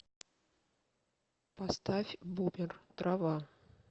поставь бумер трава